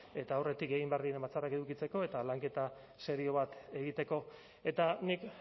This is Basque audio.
eta aurretik egin behar diren batzarrak edukitzeko eta lanketa serio bat egiteko eta nik